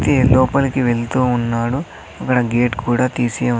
వ్యక్తి లోపలికి వెళ్తూ ఉన్నాడు అక్కడ గేట్ కూడా తీసి ఉన్.